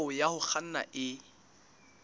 hao ya ho kganna e